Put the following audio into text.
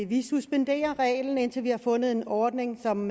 vi suspenderer reglen indtil vi har fundet en ordning som